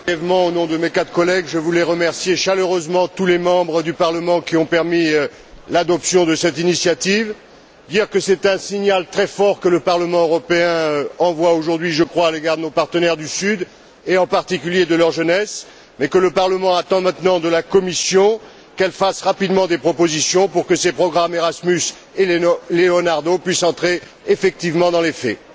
Au nom de mes quatre collègues, je voulais remercier chaleureusement tous les membres du Parlement qui ont permis l'adoption de cette initiative, d'une part, et dire, d'autre part, que c'est un signal très fort que le Parlement européen envoie aujourd'hui, selon moi, à nos partenaires du Sud et, en particulier, à leur jeunesse, mais que le Parlement attend maintenant de la Commission qu'elle fasse rapidement des propositions pour que ces programmes Erasmus et Leonardo puissent entrer effectivement dans les faits.